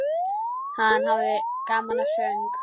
Hann hafði gaman af söng.